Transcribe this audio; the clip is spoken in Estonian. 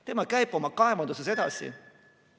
Tema käib oma kaevanduses edasi.